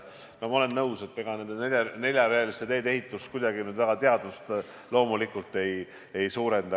Ma olen nõus, et ega neljarealiste teede ehitus kuidagi teaduse tegemist loomulikult ei suurenda.